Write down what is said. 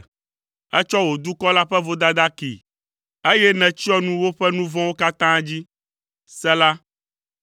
Ètsɔ wò dukɔ la ƒe vodada kee, eye nètsyɔ nu woƒe nu vɔ̃wo katã dzi. Sela